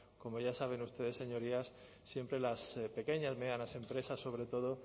como ya saben ustedes señorías siempre las pequeñas medianas empresas sobre todo